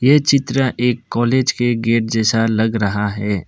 ये चित्र एक कॉलेज के गेट जैसा लग रहा है।